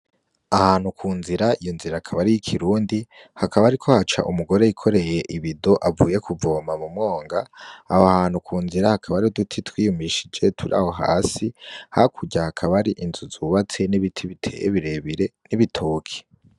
Ahantu ku nzira iyo nzira akabari y'ikirundi hakab hariko haca umugore yikoreye ibido avuye kuvoma mu mwonga, aho hantu ku nzira hakaba hari uduti twiyumishije turi aho hasi hakurya hakaba hari inzu zubatse n'ibiti biteye birebire n'ibitoke.